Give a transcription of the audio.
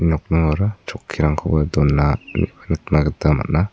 nokningora chokkirangkoba dona nikna gita man·a.